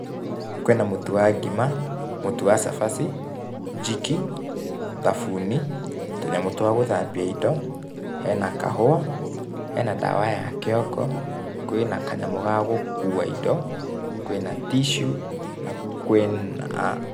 Kwĩ na mũtu wa ngima, mũtu wa cabaci, Jik, thabuni, tũnyamũ twa gũthambia indo, he na kahũa, he na ndawa ya kĩongo, kwĩ na kanyamũ ga gũkuua indo, kwĩ na tissue, na kwĩ na..